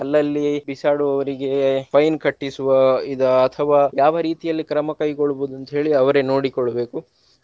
ಅಲ್ಲಲ್ಲಿ ಬಿಸಾಡುವವರಿಗೆ fine ಕಟ್ಟಿಸುವ ಇದು ಅಥವಾ ಯಾವ ರೀತಿಯಲ್ಲಿ ಕ್ರಮ ಕೈಗೊಳ್ಬೋದು ಅಂತೇಳಿ ಅವರೇ ನೋಡಿಕೊಳ್ಬೇಕು.